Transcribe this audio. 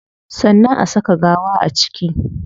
Sannan a saka gawa a ciki